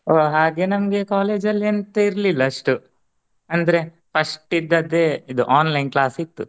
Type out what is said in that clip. ಓ ಹಾಗೆ ನಮ್ಗೆ college ಅಲ್ಲಿ ಎಂತ ಇರಲಿಲ್ಲಾ ಅಷ್ಟು ಅಂದ್ರೆ first ಇದ್ದದ್ದೇ ಇದು online class ಇತ್ತು